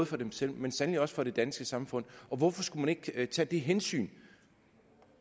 for dem selv men sandelig også for det danske samfund og hvorfor skulle man ikke tage det hensyn